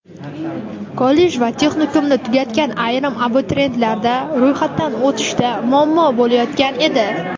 kollej va texnikumni tugatgan ayrim abituriyentlarda ro‘yxatdan o‘tishda muammo bo‘layotgan edi.